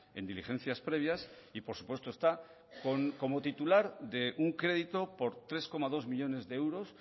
en diligencias previas y por supuesto está como titular de un crédito por tres coma dos millónes de euros